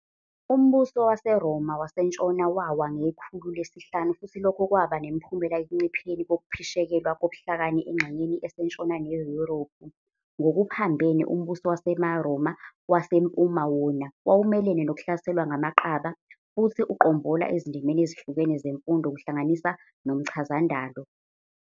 Umbuso waseRoma waseNtshona Wawa ngekhulu lesihlanu futhi lokho kwaba nemiphumela ekuncipheni kokuphishekelwa kobuhlakani engxenyeni esentshona neYuruphu. Ngokuphambene, umbuso waseRoma waseMpuma wona wawumelene nokuhlaselwa ngamaqaba, futhi uqombola ezindimeni ezihlukene zemfundo, kuhlanganisa nomchazandalo.